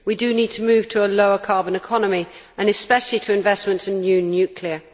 We do need to move to a lower carbon economy and especially to investment in new nuclear.